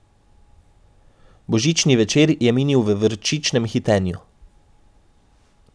Božični večer je minil v vročičnem hitenju.